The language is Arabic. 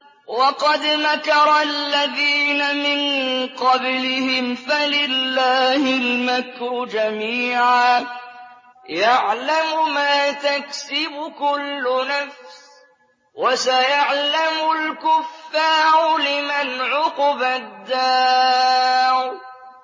وَقَدْ مَكَرَ الَّذِينَ مِن قَبْلِهِمْ فَلِلَّهِ الْمَكْرُ جَمِيعًا ۖ يَعْلَمُ مَا تَكْسِبُ كُلُّ نَفْسٍ ۗ وَسَيَعْلَمُ الْكُفَّارُ لِمَنْ عُقْبَى الدَّارِ